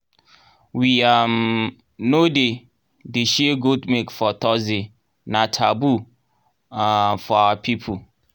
we um no dey dey share goat milk for thursday — na taboo um for our people.